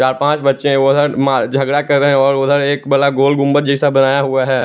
चार पांच बच्चे उधर मार झगड़ा कर रहे और उधर एक गोल गुंबद जैसा बनाया हुआ है।